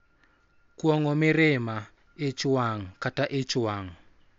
Kuong�o mirima, ich wang�, kata ich wang�